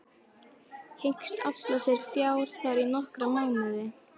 Hyggst afla sér fjár þar í nokkra mánuði.